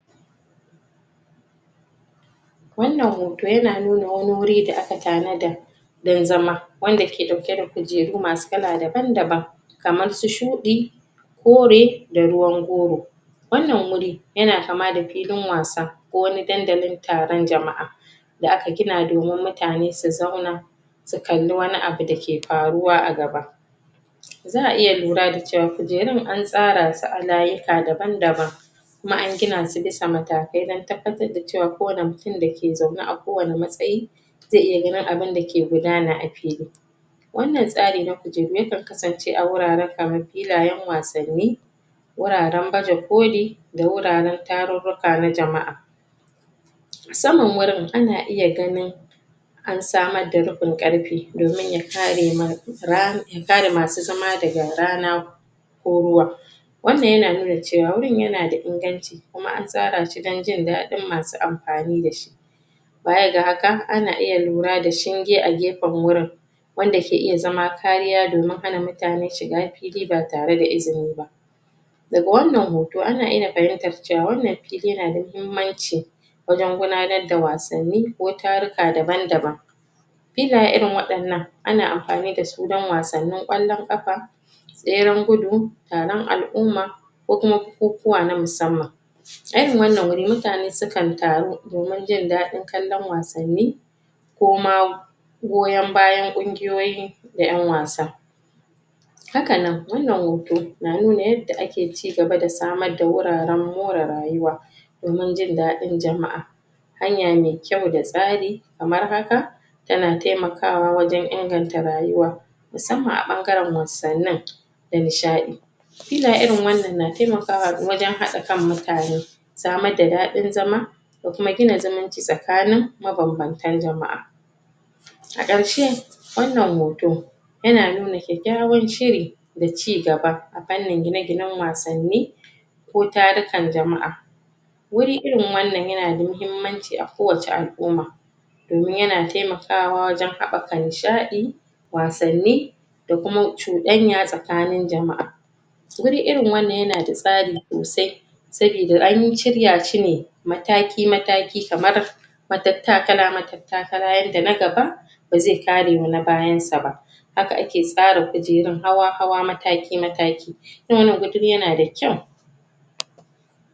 Wannan hoto ya na nuna wani wuri da aka tanada don zama, wanda ke ɗauke da kujeru masu kala daban-daban. Kamar su shuɗi, kore da ruwan goro. Wannan wuri ya na kama da filin wasa ko wani dandalin taron jama'a da aka gina domin mutane su zauna su kalli wani abu da ke faruwa a gaba. Za'a iya lura da cewa kujerun an tsara su a layuka daban-daban, kuma an gina su bisa matakai don tabbatar da cewa kowane mutum da ke zaune a kowane matsayi, za iya ganin abunda ke gudana a fili. Wannan tsari na kujeru yakan kasance a wuraren kaman filayen wasanni, wuraren baje koli, da wuraren tarurruka na jama'a. Saman wurin ana iya ganin an samar da rufin ƙarfe domin ya kare mana ra ya kare masu zama daga rana ko ruwa. Wannan ya na nuna cewa wurin ya na da inganci kuma an tsara shi don jin daɗin masu amfani da shi. Baya ga haka ana iya lura da shinge a gefen wurin wanda ke iya zama kariya domin hana mutane shiga fili ba tare da izini ba. Daga wannan hoto ana iya fahimtar cewa fili yan na da muhimmanci wajen gudanar da wasanni ko taruka daban-daban. Filaye irin waɗannan, ana amfani da su don wasannin ƙwallon ƙafa, tseren gudu, taron al'umma, ko kuma bukukuwa na musamman. A irin wannan wuri mutane sukan taru domin jin daɗi kallon wasanni ko ma goyan bayan ƙunguyoyi da ƴan wasa. Hakan nan wannan hoto na nuna yadda ake cigaba da samar da wuraren more rayuwa domin jin daɗin jama'a. Hanya mai kyau da tsari kamar haka ta na taimakawa wajen inganta rayuwa musamman a ɓangaren wasannin da nihsaɗi. Filaye irin wannan na taimakawa wajen haɗa kan mutane, samar da daɗin zama, da kuma gina zumunci tsakanin mabam-bantan jama'a. A ƙarshe wannan hoto ya na nuna kyaykkyawan shiri da cigaba a fannin gine-ginen wasanni ko tarukan jama'a Wuri irin wannan ya na da muhimmanci a kowace al'umma. Domin ya na taimakawa wajen haɓaka nishaɗi, wasanni, da kuma cuɗanya tsakanin jama'a. Guri irin wannan ya na da tsari sosai sabida an yi shirya shi ne mataki-mataki kamar matattakala-matattakala yanda na gaba ba ze karewa na bayan sa. Haka ake tsara kujerun hawa-hawa mataki-mataki irin wannan wuri ya na da kyau.